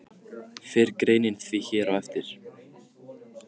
Fer greinin því hér á eftir.